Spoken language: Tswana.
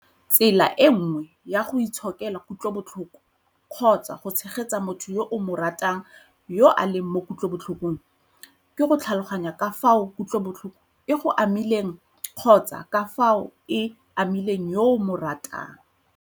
Tsela e nngwe ya go itshokela kutlobotlhoko kgotsa go tshegetsa motho yo o mo ratang yo a leng mo kutlobotlhokong ke go tlhaloganya ka fao kutlobotlhoko e go amileng kgotsa ka fao e amileng yo o mo ratang.